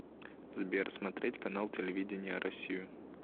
сбер смотреть канал телевидения россию